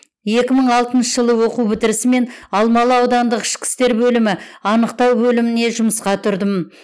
екі мың алтыншы жылы оқу бітірісімен алмалы аудандық ішкі істер бөлімі анықтау бөліміне жұмысқа тұрдым